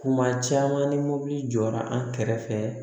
Kuma caman ni mobili jɔra an kɛrɛfɛ